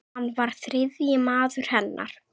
Hann var þriðji maður hennar.